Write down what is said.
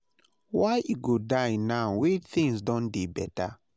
Why e go die now when things don dey better?